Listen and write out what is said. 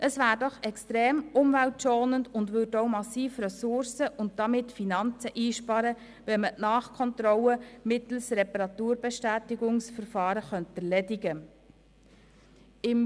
Es wäre doch extrem umweltschonend und sparte massiv Ressourcen und Finanzen ein, wenn man die Nachkontrolle mittels eines Reparaturbestätigungsverfahrens erledigen könnte.